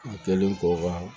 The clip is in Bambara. A kɛlen kɔ ka